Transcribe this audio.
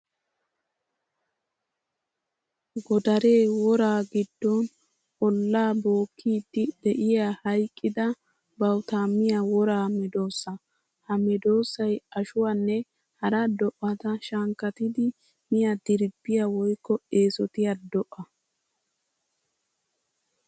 Godare woraa gidon olaa bookkiddi de'iya hayqqidda bawutta miya wora medosa. Ha medosay ashuwanne hara do'atta shankkattiddi miya dirbbiya woykko eesottiya do'a.